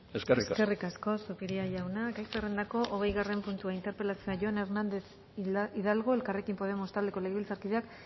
eskerrik asko eskerrik asko zupiria jauna gai zerrendako hogeigarren puntua interpelazioa jon hernández hidalgo elkarrekin podemos taldeko legebiltzarkideak